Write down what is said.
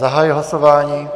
Zahajuji hlasování.